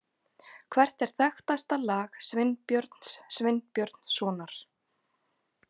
Hvert er þekktasta lag Sveinbjörns Sveinbjörnssonar?